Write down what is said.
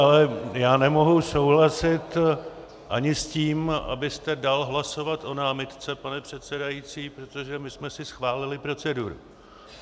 Ale já nemohu souhlasit ani s tím, abyste dal hlasovat o námitce, pane předsedající, protože my jsme si schválili proceduru.